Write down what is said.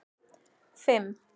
fimm